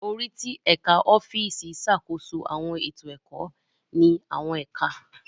Orí ti Ẹka ọfiisi ṣàkóso awọn eto ẹkọ ni awọn ẹka.